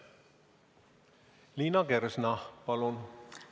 Liina Kersna, palun!